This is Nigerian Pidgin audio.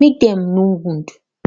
mek dem no wound